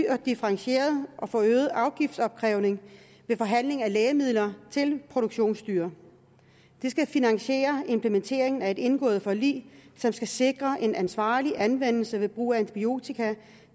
differentieret og forøget afgiftsopkrævning ved forhandling af lægemidler til produktionsdyr det skal finansiere implementeringen af et indgået forlig som skal sikre en ansvarlig anvendelse ved brug af antibiotika